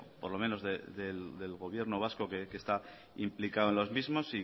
por lo menos del gobierno vasco que está implicado en los mismos